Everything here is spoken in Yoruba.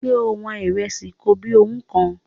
Ṣé o wọn ìrẹsì kobíowú kan?